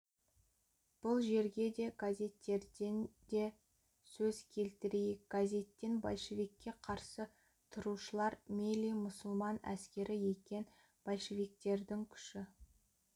бұл жерге де газеттерден сөз келтірейік газеттен большевикке қарсы тұрушылар мелли мұсылман әскері екен большевиктердің күші